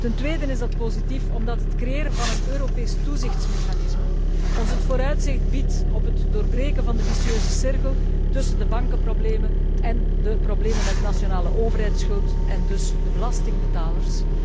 Ten tweede is dat positief omdat het creëren van een Europees toezichtsmechanisme ons het vooruitzicht biedt op het doorbreken van de vicieuze cirkel tussen de bankenproblemen en de problemen met nationale overheidsschuld, en dus de belastingbetalers.